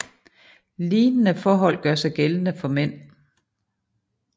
Lignende forhold gør sig gældende for mænd